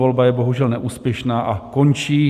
Volba je bohužel neúspěšná a končí.